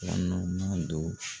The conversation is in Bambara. do